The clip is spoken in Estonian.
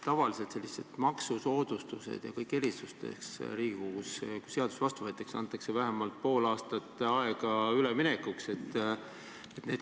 Tavaliselt, kui selliste maksusoodustuste ja erisuste kohta Riigikogus seadus vastu võetakse, siis antakse vähemalt pool aastat aega üleminekuks.